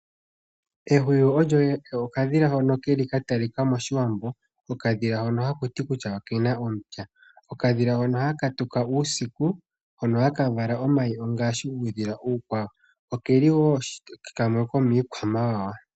Ehuwi olyo okadhila hono keli katalika moshiwambo. Okadhila hono hakuti kutya okena omupya. Okadhila hono haka tuka uusiku, hono haka vala omayi ongaashi uudhila uukwawo. Keli wo kamwe ko miikwamawawa.